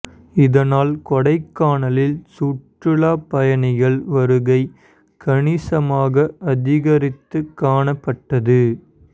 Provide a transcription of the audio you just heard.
இதனால் கொடைக்கானலில் சுற்றுலாப் பயணிகள் வருகை கணிசமாக அதிகரித்து காணப்பட்டது